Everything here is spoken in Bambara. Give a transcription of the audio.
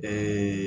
Bɛɛ